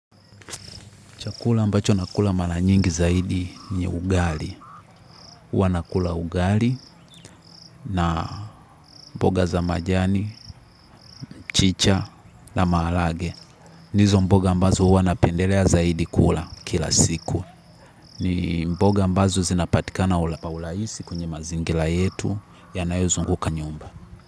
Chakula ambacho nakula mara nyingi zaidi ni ugali. Huwa nakula ugali na mboga za majani, michicha na mahalage. Nizo mboga ambazo huwa napendelea zaidi kula kila siku. Ni mboga ambazo zinapatikana ula pa ulaisi kwenye mazingila yetu yanayozunguka nyumba.